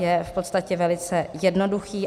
Je v podstatě velice jednoduchý.